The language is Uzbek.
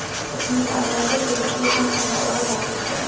ismli ayolga tegishli sumkani o‘g‘irlab ketdi.